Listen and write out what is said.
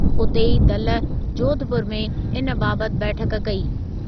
उते ई दल जोधपुर में इन बाबति बैठकु कई।